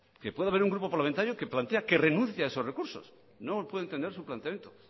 que pueda haber un grupo parlamentario que plantea que renuncia a esos recursos no puedo entender su planteamiento